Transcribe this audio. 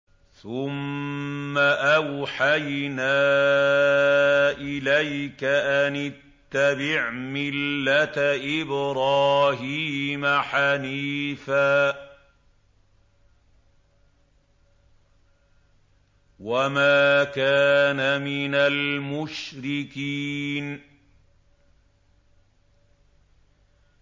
ثُمَّ أَوْحَيْنَا إِلَيْكَ أَنِ اتَّبِعْ مِلَّةَ إِبْرَاهِيمَ حَنِيفًا ۖ وَمَا كَانَ مِنَ الْمُشْرِكِينَ